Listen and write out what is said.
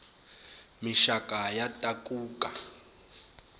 mixava ya takuka